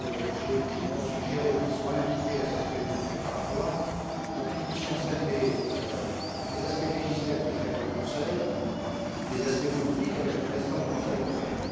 J'ai écrit pour suggérer qu'il soit invité à cette réunion préparatoire pour que nous puissions scinder les aspects législatifs avec le Conseil des aspects politiques avec le président du Conseil européen.